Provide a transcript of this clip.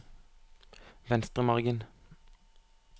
Venstremargen